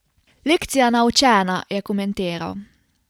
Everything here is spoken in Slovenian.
Lekcija naučena, je komentiral.